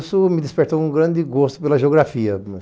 Isso me despertou um grande gosto pela geografia.